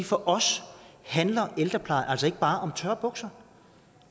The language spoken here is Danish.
for os handler ældrepleje altså ikke bare om tørre bukser